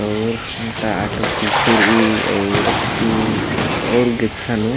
अऊर ओंटा आटो पीछू रइई अऊर अत्तू अऊर गेच्छा नू----